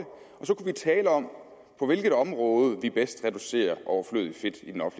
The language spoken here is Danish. tale om på hvilket område vi bedst reducerer overflødig fedt i den